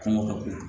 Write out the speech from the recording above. Kɔngɔ ka bon